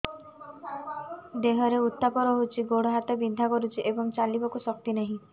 ଦେହରେ ଉତାପ ରହୁଛି ଗୋଡ଼ ହାତ ବିନ୍ଧା କରୁଛି ଏବଂ ଚାଲିବାକୁ ଶକ୍ତି ନାହିଁ